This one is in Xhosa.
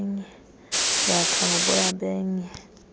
yakha ngoboya benye